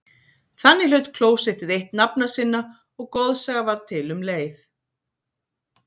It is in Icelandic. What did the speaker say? Þannig hlaut klósettið eitt nafna sinna og goðsaga varð til um leið.